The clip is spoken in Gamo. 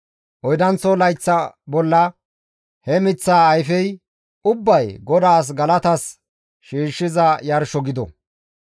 Oydanththo layththa bolla he miththaa ayfey ubbay GODAAS galatas shiishshiza yarsho gido.